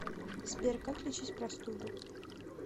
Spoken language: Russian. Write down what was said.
сбер как лечить простуду